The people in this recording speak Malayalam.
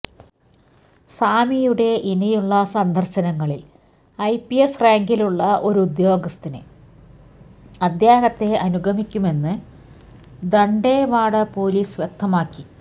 സ്വാമിയുടെ ഇനിയുള്ള സന്ദര്ശനങ്ങളില് ഐ പി എസ് റാങ്കിലുള്ള ഒരു ഉദ്യോഗസ്ഥന് അദ്ദേഹത്തെ അനുഗമിക്കുമെന്ന് ദണ്ഡേവാഡ പൊലീസ് വ്യക്തമാക്കി